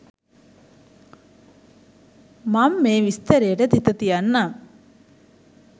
මං මේ විස්තරේට තිත තියන්නම්